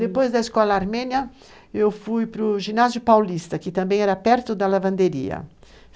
Depois da escola armênia, eu fui para o ginásio paulista, que também era perto da lavanderia.